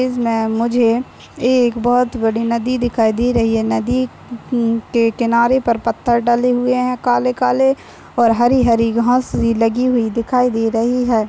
इसमे मुझे एक बहुत बड़ी नदी दिखाई दे रही है। नदी हम्म के किनारे पर पत्थर डले हुए है काले काले और हरी हरी घास भी लगी हुई दिखाई दे रही है।